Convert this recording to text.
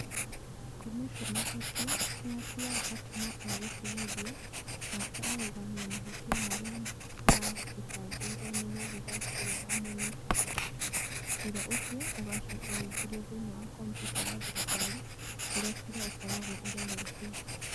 Komishona ũcio nĩ atuaga atĩ no egũtigithio, na akarũgamia mahĩtia marĩa maathitangĩirũo nĩ mũthigari ũrĩa wamũnyitĩte. Ciira ũcio ũgacoka ũingĩrio thĩinĩ wa kompiuta ya thirikari kũrĩa cira ũkoragwo ũroretwo.